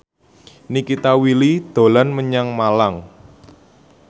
Nikita Willy dolan menyang Malang